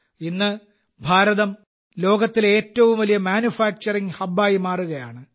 ഇന്ന് ഭാരതം ലോകത്തിലെ ഏറ്റവും വലിയ മാനുഫാക്ചറിംഗ് ഹബ്ബായി മാറുകയാണ്